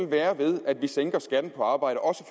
være ved at vi sænker skatten på arbejde også